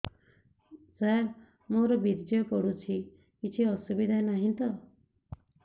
ସାର ମୋର ବୀର୍ଯ୍ୟ ପଡୁଛି କିଛି ଅସୁବିଧା ନାହିଁ ତ